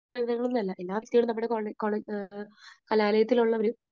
സമൂഹമെന്നല്ല, എല്ലാ കുട്ടികളും നമ്മുടെ കോളെ, കോളേ, കലാലയത്തിൽ ഉള്ളവരും